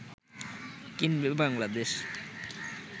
কিনবে বাংলাদেশ